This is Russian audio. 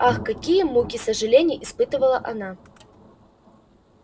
ах какие муки сожалений испытывала она